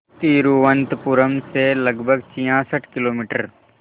तिरुवनंतपुरम से लगभग छियासठ किलोमीटर